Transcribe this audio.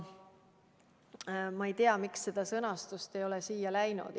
Ma ei tea, miks seda ei ole siia kirja läinud.